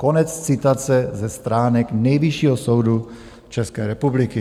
Konec citace ze stránek Nejvyššího soudu České republiky.